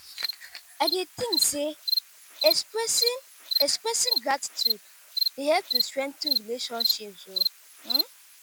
i dey think say expressing expressing gratitude dey help to strengthen relationships.